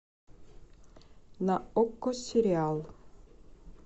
на окко сериал